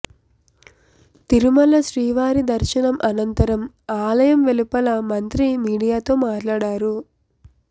తిరుమల శ్రీవారి దర్శనం అనంతరం ఆలయం వెలుపల మంత్రి మీడియాతో మాట్లాడారు